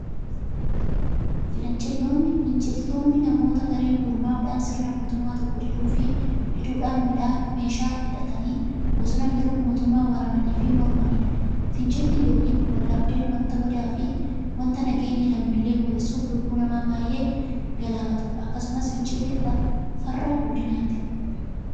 Finciltoonni namoota gareen gurmaa'udhaan sirna mootummaa tokkoo diduufi diduudhan meeshaa hidhatanii bosona galuun mootummaa waraananiifi mormaniidha. Fincilli yookiin waldhabdeen wanta badaafi wanta nageenya lammiilee boreessuufi lubbuu nama baay'ee galaafatuudha. Akkasumas fincilli farra guddinaati.